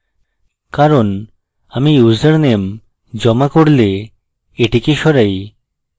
কারণ আমি ইউসারনেম জমা করলেএটিকে সরাই